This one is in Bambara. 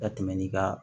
Ka tɛmɛ ni ka